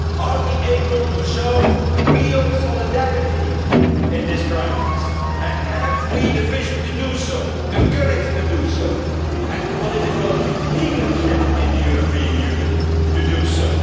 Are we able to show real solidarity in this crisis, and have we the vision to do so, the courage to do so and the political leadership in the European Union to do so?